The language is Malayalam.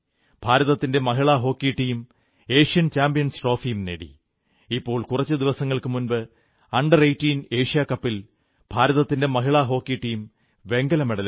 ഭാരതത്തിന്റെ മഹിളാ ഹോക്കി ടീം ഏഷ്യൻ ചാമ്പ്യൻസ് ട്രോഫിയും നേടി ഇപ്പോൾ കുറച്ചു ദിവസങ്ങൾക്കു മുമ്പ് അണ്ടർ 18 ഏഷ്യാ കപ്പിൽ ഭാരതത്തിന്റെ മഹിളാഹോക്കി ടീം വെങ്കലമെഡലും നേടി